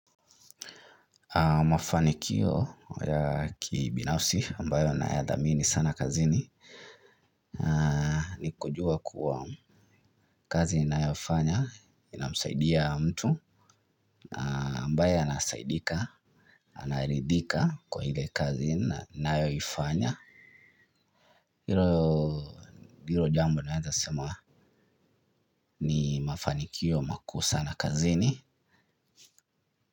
Mafanikio ya kibinafsi ambayo naya dhamini sana kazini. Nikujuwa kuwa kazi ninayofanya inamsaidia mtu ambaye anasaidika, anaridhika kwa ile kazi ninayoifanya. Hilo jambo naeza sema ni mafanikio makuu sana kazini.